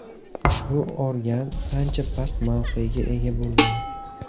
Ushbu organ ancha past mavqega ega bo‘lgan.